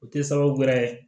O tɛ sababu wɛrɛ ye